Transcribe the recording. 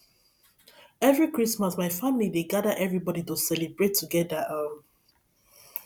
every christmas my family dey gada everybodi to celebrate together um